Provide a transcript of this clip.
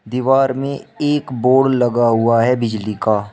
दीवार में एक बोर्ड लगा हुआ है बिजली का।